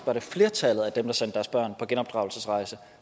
at flertallet af dem der sendte deres børn på genopdragelsesrejse